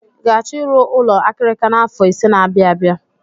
Ị ga-achọ ịrụ ụlọ akirika n'afọ ise n'abia abịa?